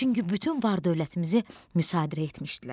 Çünki bütün var-dövlətimizi müsadirə etmişdilər.